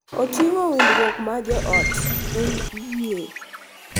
Oting’o winjruok mag joot, en yie.